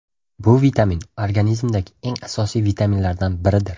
Bu vitamin organizmdagi eng asosiy vitaminlardan biridir.